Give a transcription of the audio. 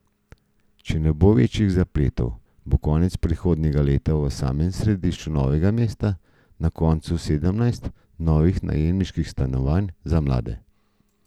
Če ne bo večjih zapletov, bo konec prihodnjega leta v samem središču Novega mesta na voljo sedemnajst novih najemniških stanovanj za mlade.